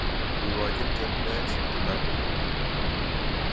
Ikochin Chepkoech kitaput ni.